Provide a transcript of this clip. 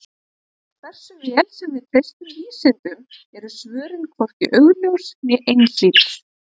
Hversu vel sem við treystum vísindunum eru svörin hvorki augljós né einhlít.